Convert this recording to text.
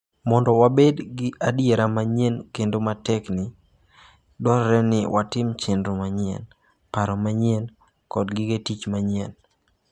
Mondo wabed gi adiera manyien kendo matekni, dwarore ni watim chenro manyien, paro manyien kod gige tich manyien.